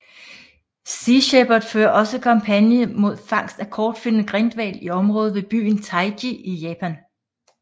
Sea Shepherd fører også kampagner imod fangst af kortfinnet grindhval i området ved byen Taiji i Japan